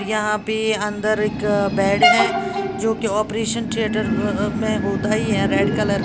यहां पे एक अंदर एक बेड है जो कि ऑपरेशन थिएटर में होता ही है रेड कलर का।